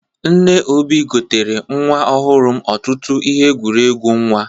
Nne Obi gotere nwa ọhụrụ m ọtụtụ ihe ekwuregwu nwa.